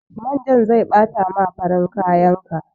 Manjan zai ɓata ma farin kayan ka.